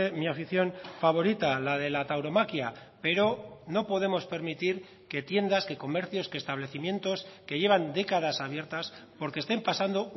mi afición favorita la de la tauromaquia pero no podemos permitir que tiendas que comercios que establecimientos que llevan décadas abiertas porque estén pasando